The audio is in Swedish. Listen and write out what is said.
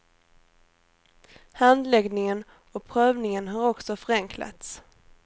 Handläggningen och prövningen har också förenklats.